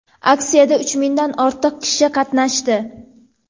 Aksiyada uch mingdan ortiq kishi qatnashdi.